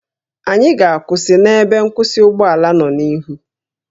Anyị ga-akwụsị na ebe nkwụsị ụgbọ ala nọ n'ihu